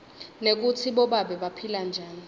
nekutsi bobabe baphila njani